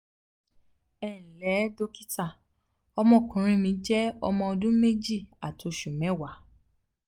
ẹ ǹlẹ́ dọ́kítà ọmọkùnrin mi jẹ́ ọmọ ọdún méjì àti oṣù mẹ́wàá